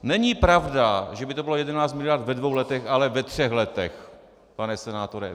Není pravda, že by to bylo 11 miliard ve dvou letech, ale ve třech letech, pane senátore.